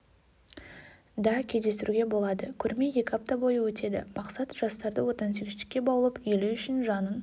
да кездестіруге болады көрме екі апта бойы өтеді мақсат жастарды отансүйгіштікке баулып елі үшін жанын